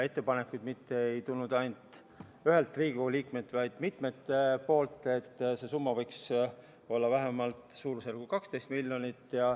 Ettepanekuid ei tulnud mitte ainult ühelt Riigikogu liikmelt, vaid mitmelt, et see summa võiks olla vähemalt 12 miljonit.